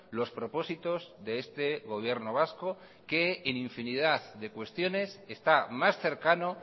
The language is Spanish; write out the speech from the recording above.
los propósitos de este gobierno vasco que en infinidad de cuestiones está más cercano